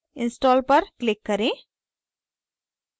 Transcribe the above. install पर click करें